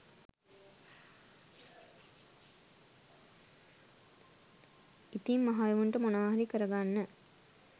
ඉතිං මහ එවුන්ට මොනවහරි කරගන්න